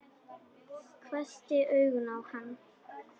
Hvessti augun á hann.